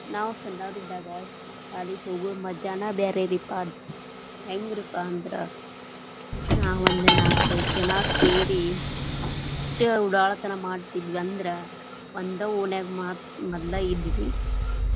ನಾವ್ ಸಣ್ಣವರಿದ್ದಾಗ ಶಾಲೆಗ ಹೋಗು ಮಜಾನೆ ಬ್ಯಾರೆರೀಪಾ ಅದ್, ಹೆಂಗರಿಪಾ ಅಂದ್ರ ನಾವ ಒಂದ್ ನಾಕೈದ್ ಜನಾ ಸೇರಿ ಇಷ್ಟ್ ಉಡಾಳತನಾ ಮಾಡತ್ತಿದ್ವಿ ಅಂದ್ರ, ಒಂದ ಓಣ್ಯಾಗ ಮ~ ಮದ್ಲಾ ಇದ್ವಿ.